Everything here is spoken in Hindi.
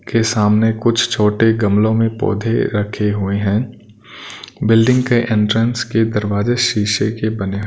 के सामने कुछ छोटे गमलों में पौधे रखे हुए हैं बिल्डिंग के एंट्रेंस के दरवाजे शीशे के बने --